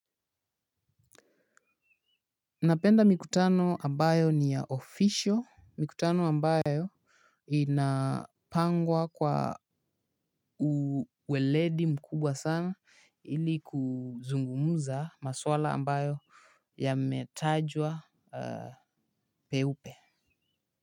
Napenda mikutano ambayo ni ya official mikutano ambayo inapangwa kwa uweledi mkubwa sana ili kuzungumuza maswala ambayo yametajwa peupe.